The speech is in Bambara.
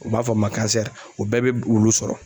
U b'a fɔ min ma o bɛɛ bɛ wulu sɔrɔ.